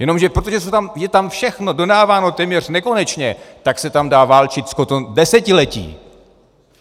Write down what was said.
Jenomže protože je tam všechno dodáváno téměř nekonečně, tak se tam dá válčit potom desetiletí.